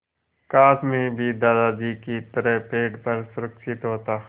काश मैं भी दादाजी की तरह पेड़ पर सुरक्षित होता